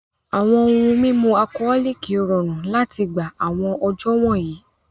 Awọn ohun mimu Alcholoc rọrun lati gba awọn ọjọ wọnyi